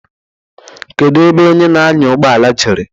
Kedu ebe onye na-anya ụgbọala jere?